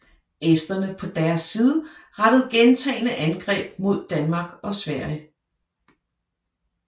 Esterne på deres side rettede gentagne angreb mod Danmark og Sverige